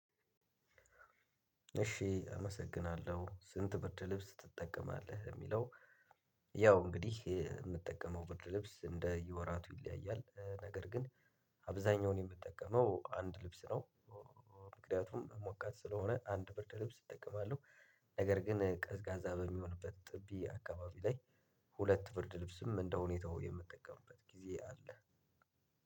እሺ አመሰግናለሁ ስንት ብርድ ልብስ ትጠቀማለህ? የሚለው ያው እንግዲህ የምጠቀመው ብርድ ልብስ እንደየ ወራቱ ይለያያል ነገር ግን አብዛኛውን የምጠቀመው አንድ ልብስ ነው። ምክንያቱም ሙቃት ስለሆነ አንድ ብርድ ልብስ እጠቀማለሁ። ነገር ግን ቀዝቃዛ በሚሆንበት ጥቢ አካባቢ ላይ ሁለት ብርድ ልብስም እንደሁኔታው የምጠቀምበት ጊዜ አለ።